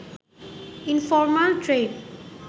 informal trade